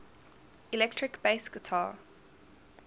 electric bass guitar